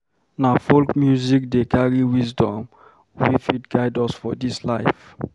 Na folk music dey carry wisdom wey fit guide us for this life.